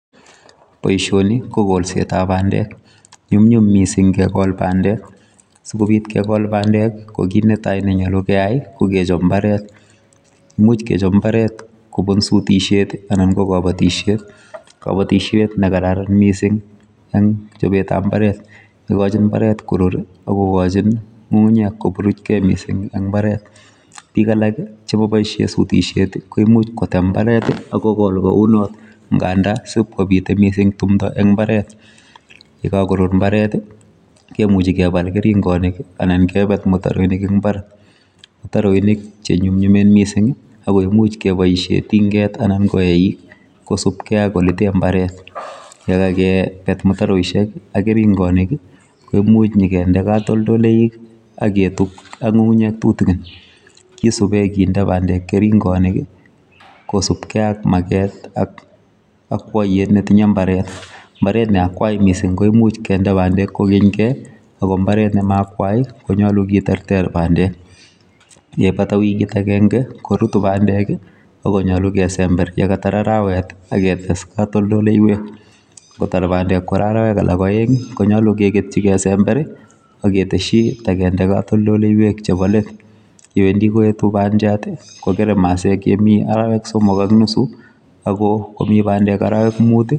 Boishoni ko kolsetap bandek. Nyumnyum mising kekol bandek. Sikobit kekol bandek ko kit netai nenyolu keyai ko kechop mbaret. Much kechop mbaret kobun sutishet anan ko kabatishet. Kabatishet nekararan mising eng chopetap mbaret. Ikochin mbaret korur ak kokochin ng'ung'unyek koburuchkei mising eng mbaret. Biik alak chekaboishe sutishet ko imuch kotem mbaret akokol kounot nganda sip kobite mising tumdo eng mbaret. Yekakorur mbaret kemuchi kepal keringonik anan kepet mutaroinik eng mbar. Mutaroinik chenyumnyumen mising ako imuch kepoishe tinket anan ko eik kosubkei ak oletee mbaret. Yekakepet mutaroishek, ak keringonik, ko imuch nyikende katoldoleik ak nyiketup ak nying'unyek tutikin. Kisube kinde bandek keringonik kosubkei ak maket ak akwoiyet netinye mbaret. Mbaret ne akwai mising ko imuch kende bandek kokonykei ako mbaret ne maakwai konyolu keterter bandek. Yeipata wikit akenke, korutu bandek ak konyolu kesember yekatar arawet aketes katoldoleiwek. Nkotar bandek kora arawek alak oeng konyou keketyi kesember ak ketesyi takende katoldoleiwek chebo let. Yewendi koetu bandiat kokere masek yemi arawek somok ak nusu ako komi bandek arawek mut,